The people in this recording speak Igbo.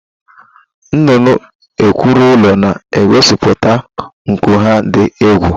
Nnụnụ ekwuru ụlọ na-egosiputa nku ha dị egwu